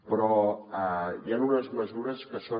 però hi ha unes mesures que són